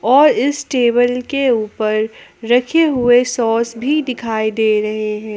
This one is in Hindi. और इस टेबल के ऊपर रखे हुए सॉस भी दिखाई दे रहे हैं।